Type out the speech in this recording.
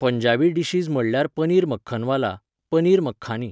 Punjabi dishes म्हणल्यार पनीर मक्कनवाला, पनीर मक्खानी.